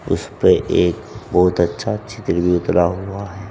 उसपे एक बहुत अच्छा चित्र भी उतरा हुआ है।